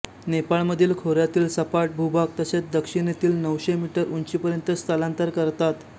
नेपाळ मधील खोऱ्यातील सपाट भूभाग तसेच दक्षिणेतील नऊशे मीटर उंचीपर्यंत स्थलांतर करतात